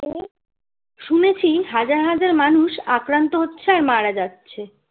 শুনেছি হাজার হাজার মানুষ আক্রান্ত হচ্ছে আর মারা যাচ্ছে